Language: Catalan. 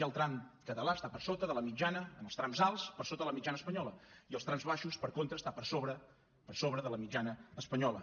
el tram català està per sota de la mitjana en els trams alts per sota de la mitjana espanyola i als trams baixos per contra està per sobre per sobre de la mitjana espanyola